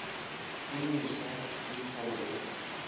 e meswa le tlholo ya